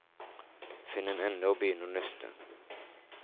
Finn en ende og begynn å nøste.